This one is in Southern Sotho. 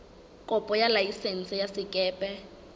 kopo ya laesense ya sekepe